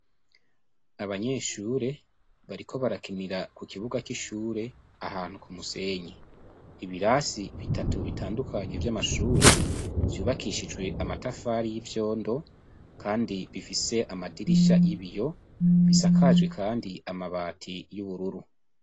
Abanyeshure bariko barakinira ku kibuga c'ishure ahantu ku musenyi ibirasi bitatu bitandukanye vy'amashure vyubakishijwe amatafari y' ivyondo kandi bifise amadirisha y' ibiyo bisakaje kandi amabati y' ubururu.